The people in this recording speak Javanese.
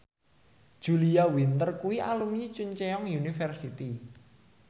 Julia Winter kuwi alumni Chungceong University